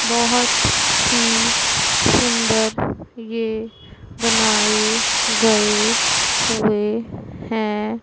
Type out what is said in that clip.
बहोत ही सुंदर ये बनाए गए हुएं हैं।